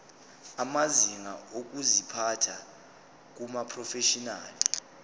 amazinga okuziphatha kumaprofeshinali